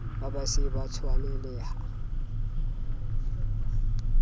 ha ba se ba tshwanelaha